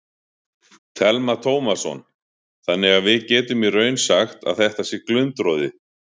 Telma Tómasson: Þannig að við getum í raun sagt að þetta sé glundroði?